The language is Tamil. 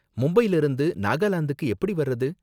மும்பைல இருந்து நாகாலாந்துக்கு எப்படி வர்றது?